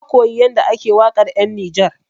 Na koyi yanda ake waƙar 'yan Nijar.